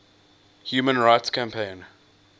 human rights campaign